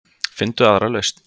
Finndu aðra lausn.